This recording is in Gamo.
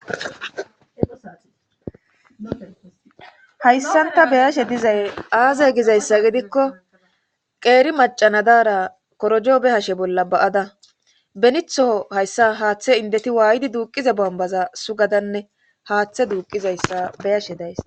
Hayssan ta beyashe dizay aaze gizayssa gidikko qeeri macanadaara korojobe hashe bolla ba7ada benitho hayssa haaththe indeti waaydi duuqiza bombaza sugadanne haaththe duuqizayssa beyashe days.